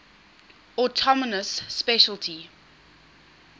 autonomous specialty